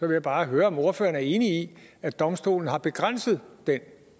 jeg bare høre om ordføreren er enig i at domstolen har begrænset den